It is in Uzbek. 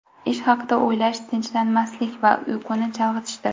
Ish haqida o‘ylash tinchlanmaslik va uyquni chalg‘itishdir.